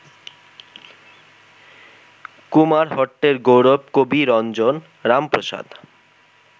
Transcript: কুমারহট্টের গৌরব কবিরঞ্জন রামপ্রসাদ